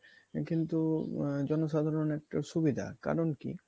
কিন্তু জনসাধারণের একটা সুবিধা কারণ কী?